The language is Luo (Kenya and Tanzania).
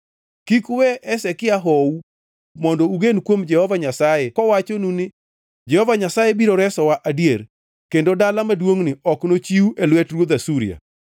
Kik uwe Hezekia hou mondo ugen kuom Jehova Nyasaye kowachonu ni, ‘Jehova Nyasaye biro resowa adier; kendo dala maduongʼni ok nochiw e lwet ruodh Asuria.’